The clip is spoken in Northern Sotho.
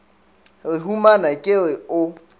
re humana ke re o